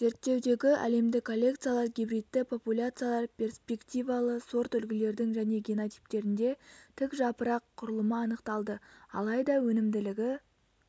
зерттеудегі әлемдік коллекциялар гибридті популяциялар перспективалы сорт үлгілердің жеке генотиптерінде тік жапырақ құрылымы анықталды алайда өнімділігі